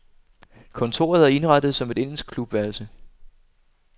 Kontoret er indrettet som et engelsk klubværelse.